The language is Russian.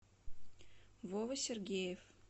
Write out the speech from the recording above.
вова сергеев